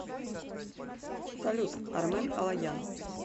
салют армен алоян